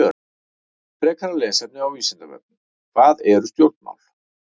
Frekara lesefni á Vísindavefnum: Hvað eru stjórnmál?